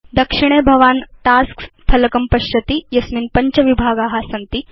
दक्षिणे भवान् टास्क्स् फलकं पश्यति यस्मिन् पञ्च विभागा सन्ति